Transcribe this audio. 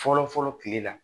Fɔlɔ fɔlɔ kile la